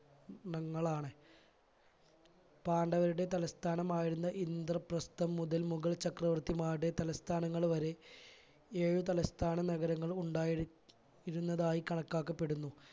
ണങ്ങൾ ആണ് പാണ്ഡവരുടെ തലസ്ഥാനമായിരുന്ന ഇന്ദ്രപ്രസ്ഥം മുതൽ മുഗൾ ചക്രവർത്തിമാരുടെ തലസ്ഥാനങ്ങൾ വരെ ഏഴ് തലസ്ഥാന നഗരങ്ങളും ഉണ്ടായിരി ഇരുന്നതായി കണക്കാക്കപ്പെടുന്നു.